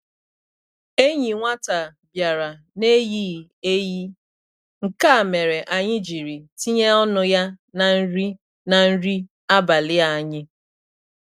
Enyi nwata bịara n' eyighị eyi, nke a mere anyị jiri tinye ọnụ ya na nri na nri abalị anyị.